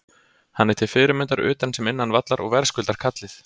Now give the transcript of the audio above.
Hann er til fyrirmyndar utan sem innan vallar og verðskuldar kallið.